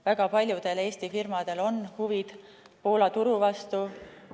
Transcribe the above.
Väga paljudel Eesti firmadel on huvid Poola turu vastu.